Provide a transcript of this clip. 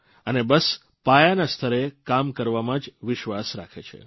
અને બસ પાયાના સ્તરે કામ કરવામાં જ વિશ્વાસ રાખે છે